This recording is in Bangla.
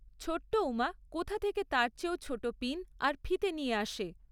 ছোট্ট উমা কোথা থেকে তার চেয়েও ছোট পিন আর ফিতে নিয়ে আসে।